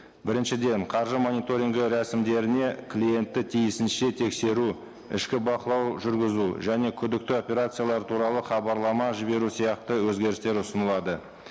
біріншіден қаржы мониторингі рәсімдеріне клиентті тиісінше тексеру ішкі бақылау жүргізу және күдікті операциялар туралы хабарлама жіберу сияқты өзгерістер ұсынылады